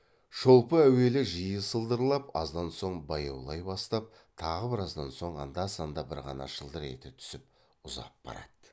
шолпы әуелі жиі сылдырлап аздан соң баяулай бастап тағы біраздан соң анда санда бір ғана шылдыр ете түсіп ұзап барады